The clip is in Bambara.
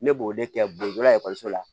Ne b'o de kɛ boa ekɔliso la